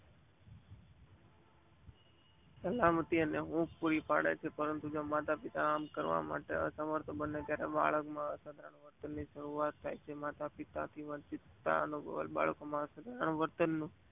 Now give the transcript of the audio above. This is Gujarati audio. સહલામતી જ ઊંઘ પુરી પાડે છે પરંતુ માતાપિતા આમ કરવા માટે અસમર્થ બને છે ત્યારે બાળક માં અ સહલમતી વંશીનતા અનુભવે છે